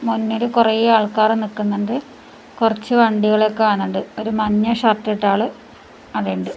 മുന്നില് കൊറെ ആൾക്കാറ് നിക്കുന്നുണ്ട് കൊറച്ച് വണ്ടികളെ കാണുന്നുണ്ട് ഒരു മഞ്ഞ ഷർട്ട് ഇട്ട ആള് ആടെ ഉണ്ട്.